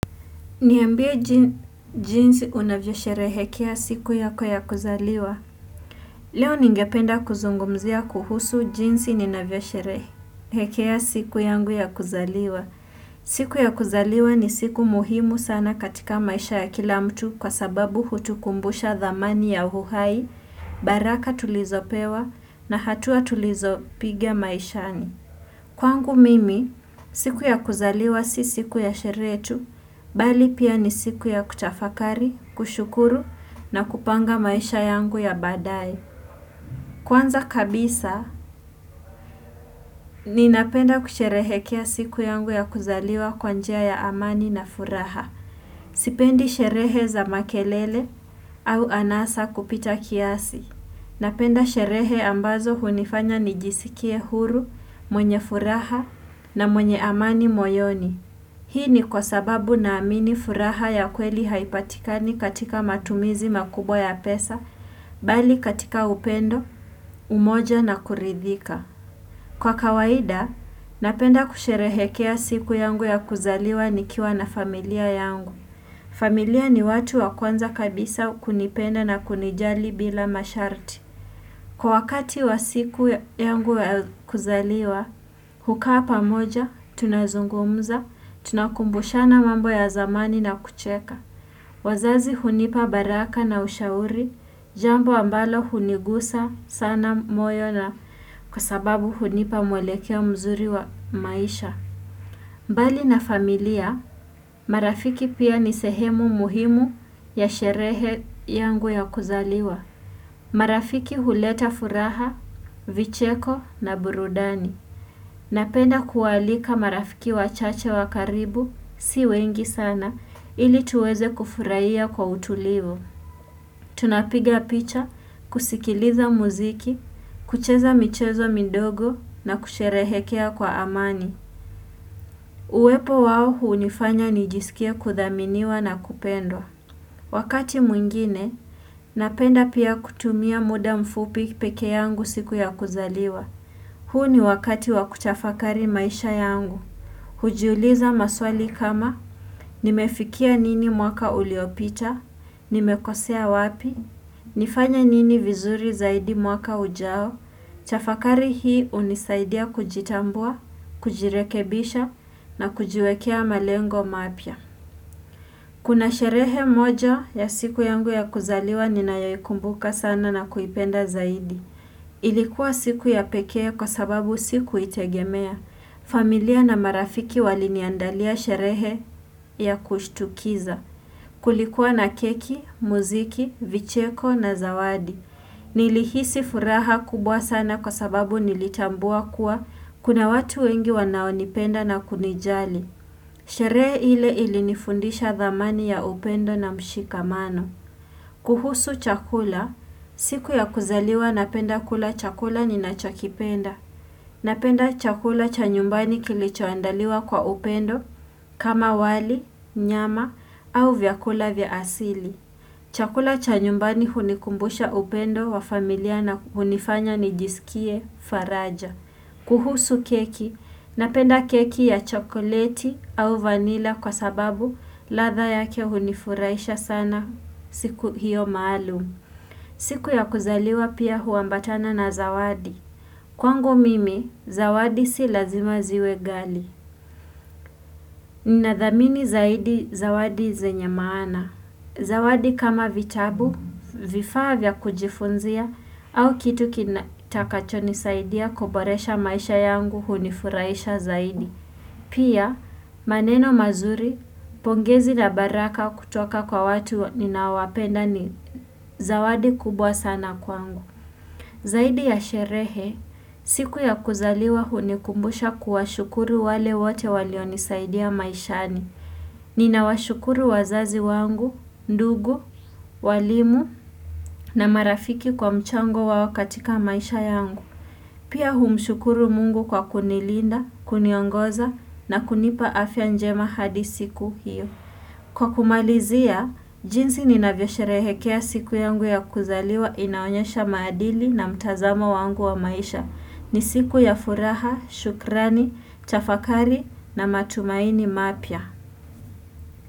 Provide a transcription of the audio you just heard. Niambie jinsi unavyosherehekea siku yako ya kuzaliwa. Leo ningependa kuzungumzia kuhusu jinsi ninavyosherehekea siku yangu ya kuzaliwa. Siku ya kuzaliwa ni siku muhimu sana katika maisha ya kila mtu kwa sababu hutukumbusha thamani ya uhai baraka tulizopewa na hatua tulizopigia maishani. Kwangu mimi siku ya kuzaliwa si siku ya sherehe tu bali pia ni siku ya kutafakari kushukuru na kupanga maisha yangu ya baadaye. Kwanza kabisa ninapenda kusherehekea siku yangu ya kuzaliwa kwa njia ya amani na furaha. Sipendi sherehe za makelele au anasa kupita kiasi. Napenda sherehe ambazo hunifanya nijisikie huru mwenye furaha na mwenye amani moyoni. Hii ni kwa sababu naamini furaha ya kweli haipatikani katika matumizi makubwa ya pesa, bali katika upendo, umoja na kuridhika. Kwa kawaida, napenda kusherehekea siku yangu ya kuzaliwa nikiwa na familia yangu. Familia ni watu wa kwanza kabisa kunipenda na kunijali bila masharti. Kwa wakati wa siku yangu ya kuzaliwa, hukaa pamoja, tunazungumza, tunakumbushana mambo ya zamani na kucheka. Wazazi hunipa baraka na ushauri, jambo ambalo hunigusa sana moyo na kwa sababu hunipa mwelekea mzuri wa maisha. Mbali na familia, marafiki pia ni sehemu muhimu ya sherehe yangu ya kuzaliwa. Marafiki huleta furaha, vicheko na burudani. Napenda kuwaalika marafiki wachache wa karibu si wengi sana ili tuweze kufurahia kwa utulivu. Tunapiga picha, kusikiliza muziki, kucheza michezo midogo na kusherehekea kwa amani. Uwepo wao hunifanya nijisikie kuthaminiwa na kupendwa. Wakati mwingine, napenda pia kutumia muda mfupi pekee yangu siku ya kuzaliwa. Huu ni wakati wakutafakari maisha yangu. Hujiuliza maswali kama, nimefikia nini mwaka uliopita, nimekosea wapi, nifanye nini vizuri zaidi mwaka ujao tafakari hii hunisaidia kujitambua, kujirekebisha na kujiwekea malengo mapya. Kuna sherehe moja ya siku yangu ya kuzaliwa ninayoikumbuka sana na kuipenda zaidi. Ilikuwa siku ya pekee kwa sababu sikuitegemea. Familia na marafiki waliniandalia sherehe ya kushtukiza. Kulikuwa na keki, muziki, vicheko na zawadi. Nilihisi furaha kubwa sana kwa sababu nilitambua kuwa kuna watu wengi wanaonipenda na kunijali. Sherehe ile ilinifundisha thamani ya upendo na mshikamano. Kuhusu chakula, siku ya kuzaliwa napenda kula chakula ninachokipenda. Napenda chakula cha nyumbani kilichoandaliwa kwa upendo kama wali, nyama au vyakula vya asili. Chakula cha nyumbani hunikumbusha upendo wa familia na hunifanya nijisikie faraja. Kuhusu keki, napenda keki ya chokoleti au vanila kwa sababu ladha yake hunifurahisha sana siku hiyo maalum. Siku ya kuzaliwa pia huambatana na zawadi. Kwangu mimi, zawadi si lazima ziwe ghali. Ninathamini zaidi zawadi zenye maana. Zawadi kama vitabu, vifaa vya kujifunzia, au kitu kitakacho nisaidia kuboresha maisha yangu hunifurahisha zaidi. Pia, maneno mazuri, pongezi na baraka kutoka kwa watu ninaowapenda ni zawadi kubwa sana kwangu. Zaidi ya sherehe, siku ya kuzaliwa hunikumbusha kuwashukuru wale wote walionisaidia maishani. Ninawashukuru wazazi wangu, ndugu, walimu na marafiki kwa mchango wao katika maisha yangu. Pia humshukuru mungu kwa kunilinda, kuniongoza na kunipa afya njema hadi siku hio. Kwa kumalizia, jinsi ninavyosherehekea siku yangu ya kuzaliwa inaonyesha maadili na mtazamo wangu wa maisha. Ni siku ya furaha, shukrani, tafakari na matumaini mapya.